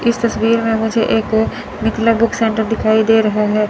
इस तस्वीर में मुझे एक मिथिला बुक सेन्टर दिखाई दे रहा है।